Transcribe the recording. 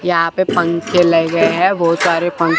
यहां पे पंखे लगे हैं बहुत सारे पन--